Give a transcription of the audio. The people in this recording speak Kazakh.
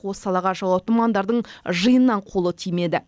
осы салаға жауапты мамандардың жиыннан қолы тимеді